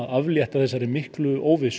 aflétta þessari miklu óvissu